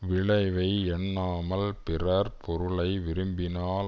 விளைவை எண்ணாமல் பிறர் பொருளை விரும்பினால்